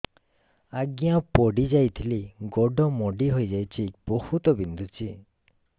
ଆଜ୍ଞା ପଡିଯାଇଥିଲି ଗୋଡ଼ ମୋଡ଼ି ହାଇଯାଇଛି ବହୁତ ବିନ୍ଧୁଛି